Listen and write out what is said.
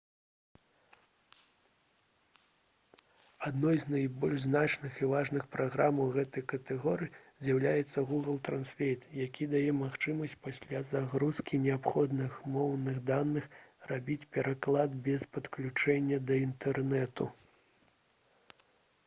адной з найбольш значных і важных праграм у гэтай катэгорыі з'яўляецца google translate які дае магчымасць пасля загрузкі неабходных моўных даных рабіць пераклад без падключэння да інтэрнэту